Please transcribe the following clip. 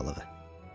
Köpək balığı.